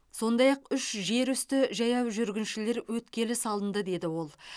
сондай ақ үш жерүсті жаяу жүргіншілер өткелі салынды деді ол